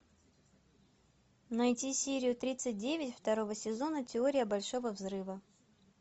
найти серию тридцать девять второго сезона теория большого взрыва